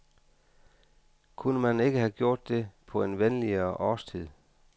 Kunne man ikke have gjort det på en venligere årstid?